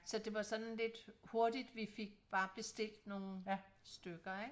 Så det var sådan lidt hurtigt vi fik bare bestilt nogen stykker ikke